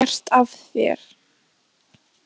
Hvað hefur þú gert af þér?